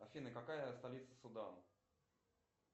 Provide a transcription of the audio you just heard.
афина какая столица судан